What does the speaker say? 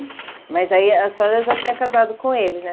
Mas aí a senhora já tinha casado com ele, né?